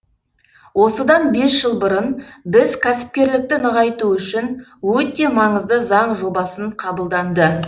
осыдан бес жыл бұрын біз кәсіпкерлікті нығайту үшін өте маңызды заң жобасын қабылданды